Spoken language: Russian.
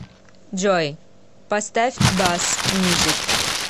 джой поставь басс мьюзик